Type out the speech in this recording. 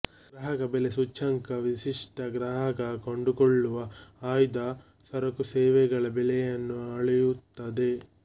ಗ್ರಾಹಕ ಬೆಲೆ ಸೂಚ್ಯಂಕ ವಿಶಿಷ್ಟ ಗ್ರಾಹಕ ಕೊಂಡುಕೊಳ್ಳುವ ಆಯ್ದ ಸರಕುಸೇವೆಗಳ ಬೆಲೆಯನ್ನು ಅಳೆಯುತ್ತದೆ